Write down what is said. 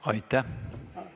Aitäh!